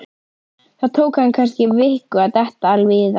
Það tók hann kannski viku að detta alveg í það.